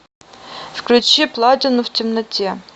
включи платину в темноте